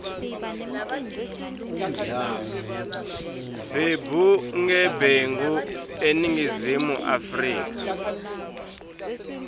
bebugebengu eningizimu afrika